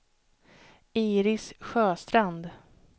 Iris Sjöstrand